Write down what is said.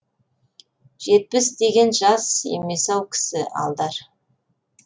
жетпіс деген жас емес ау кісі алдар